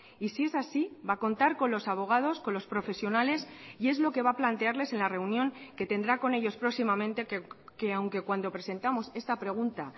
y si es así va a contar con los abogados con los profesionales y es lo que va a plantearles en la reunión que tendrá con ellos próximamente que aunque cuando presentamos esta pregunta